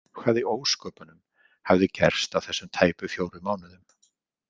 Hvað í ósköpunum hafði gerst á þessum tæpu fjórum mánuðum?